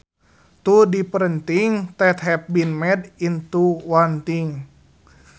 Two different things that have been made into one thing